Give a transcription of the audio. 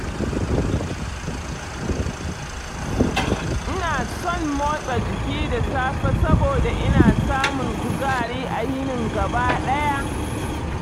Ina son motsa jiki da safe saboda ina samun kuzari a yinin gaba ɗaya.